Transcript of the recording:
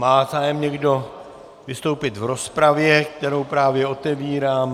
Má zájem někdo vystoupit v rozpravě, kterou právě otevírám?